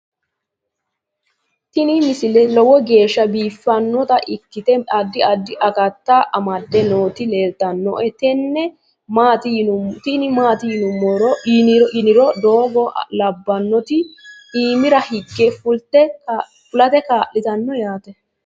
tini misile lowo geeshsha biiffannota ikkite addi addi akata amadde nooti leeltannoe tini maati yiniro doogo labbannoti iimira hige fulate kaa'litanno yaate